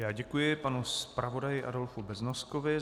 Já děkuji panu zpravodaji Adolfu Beznoskovi.